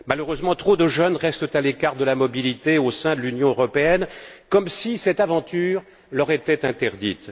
Malheureusement, trop de jeunes restent encore à l'écart de la mobilité au sein de l'Union européenne, comme si cette aventure leur était interdite.